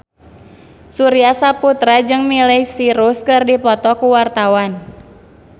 Surya Saputra jeung Miley Cyrus keur dipoto ku wartawan